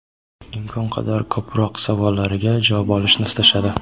imkon qadar ko‘proq savollariga javob olishni istashadi.